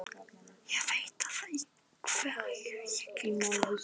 Ég veit að hverju ég geng þar.